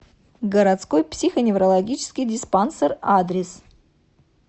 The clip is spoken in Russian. городской психоневрологический диспансер адрес